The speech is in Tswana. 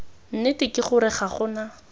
nnete ke gore ga gona